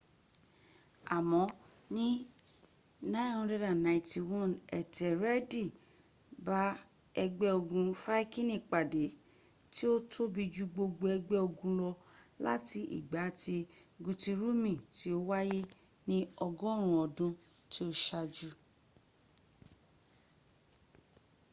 àmọ́ ní 991 ẹ́tẹ́rẹ́ẹ̀dì bá ẹgbẹ́ ogun fáikini pàdé tí ó tóbi jù gbogbo ẹgbẹ́ ogun lọ láti ìgbà tí gútírùmi tí ó wáyé ní ọgọ́run ọdún tí ó ṣájú